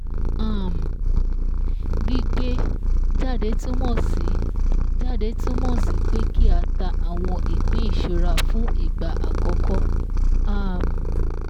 um Gbígbé jáde túnmọ̀ sí jáde túnmọ̀ sí pé kí á ta àwọn ìpín ìṣura fún ìgbà àkọ́kọ́ um